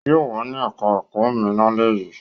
Yóò wà ní ẹ̀ká ẹ̀kọ́ mi lálẹ́ yìí